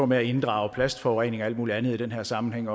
med at inddrage plastforurening og alt muligt andet i den her sammenhæng